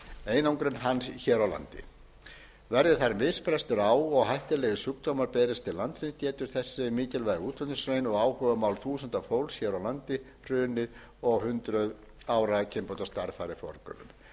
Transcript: einangrun hans hér á landi verði þar misbrestur á og hættulegir sjúkdómar berist til landsins getur þessi mikilvæga útflutningsgrein og áhugamál þúsunda fólks hér á landi hrunið og hundrað ára kynbótastarf farið